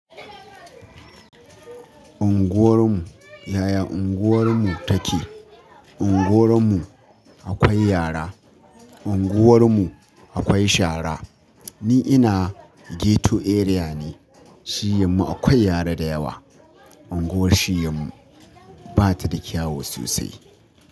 Unguwar mu, yaya unguwar mu take? Unguwar mu akwai yara, unguwar mu akwai shara. Ni ina ghetto area ne, shiyyamu akwai yara dayawa. Unguwar shiyya mu bata da kyawu sosai.